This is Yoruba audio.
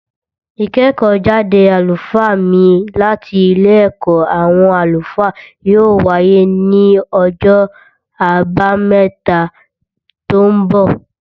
Ìkẹ́kọ̀ọ́ jáde àlùfáà mí láti Ilé ẹ̀kọ́ àwọn àlùfáà yóò wáyé ní ọjọ́ àbámẹ́ta tó ń bọ̀